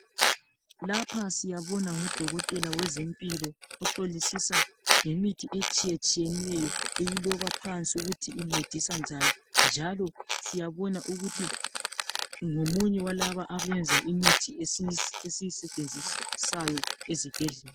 Lapha siyabona ngudokotela wezempilo. Ohlolisisa ngemithi etshiyetshiyeneyo. Ekuloba phansi ukuthi incedisa njani. Lokuthi uzayisebenzisa njani. Njalo siyabona ukuthi ngomunye walaba abapheka imithi esiyisebenzisa esibhedlela.